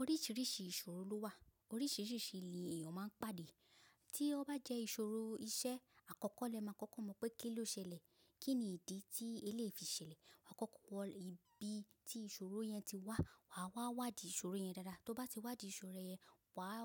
Oríṣiríṣi ìṣòro ló wà, oríṣiríṣi li èèyàn máa ń pàdé. Tí ó bá jẹ́ ìṣòro iṣẹ́, àkọ́kọ́ lẹ máa kọ́kọ́ mọ̀ pé kí ló ṣẹlẹ̀, kí ni ìdí tí ẹ lè fi ṣẹlẹ̀. Wà á kọ́kọ́ wọ ibi tí ìṣòro yẹn ti wá, wà á wá wádì ìṣòro yẹn dáadáa. Tó bá ti wádì ìṣòro yẹn, wà á,